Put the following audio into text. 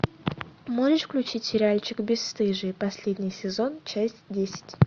можешь включить сериальчик бесстыжие последний сезон часть десять